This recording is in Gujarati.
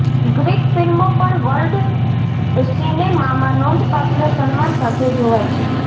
ગ્રીક ફ્લ્મિો પણ વર્લ્ડ સિનેમામાં નોંધપાત્ર સન્માન સાથે જોવાય છે